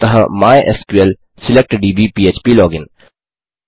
अतः MySQL select दब् पह्प लोगिन